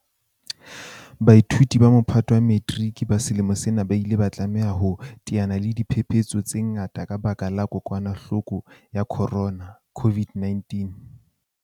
Baithuti ba Mophato wa Metiriki ba selemo sena ba ile ba tlameha ho teana le diphephetso tse ngata ka lebaka la kokwanahloko ya corona, CO-VID-19.